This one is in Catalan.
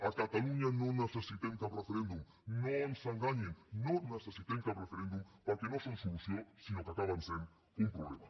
a catalunya no necessitem cap referèndum no ens enganyin no necessitem cap referèndum perquè no són solució sinó que acaben sent un problema